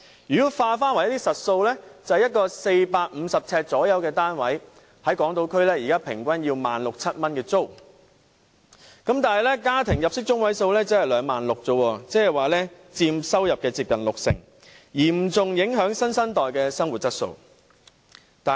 如果以實數計算，在港島區一個約450平方呎的單位的租金平均約為 16,000 元至 17,000 元，但家庭入息中位數只是 26,000 元，即租金佔收入接近六成，嚴重影響新生代的生活質素。